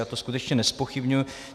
Já to skutečně nezpochybňuji.